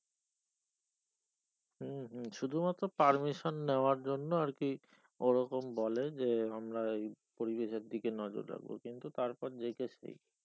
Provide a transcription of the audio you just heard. হম হম শুধু মাত্র permission নেওয়ার জন্য আর কি ও রকম বলে যে আমরা পরিবেশের দিকে নজর রাখবো কিন্তু তারপর যেইকার সেই